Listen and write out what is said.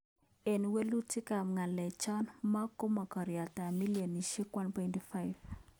Eng walutik ap galek cho, mo komakariet ap bilionishek 1.5